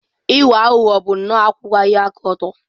Ịwa aghụghọ bụ nnọọ akwụwaghị aka ọtọ.